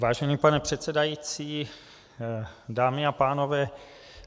Vážený pane předsedající, dámy a pánové.